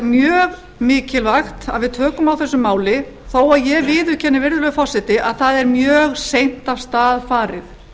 mjög mikilvægt að við tökum á þessu máli þó ég viðurkenni virðulegur forseti að það er mjög seint af stað farið